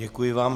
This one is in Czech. Děkuji vám.